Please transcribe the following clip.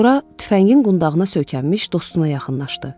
Sonra tüfəngin qundağına söykənmiş dostuna yaxınlaşdı.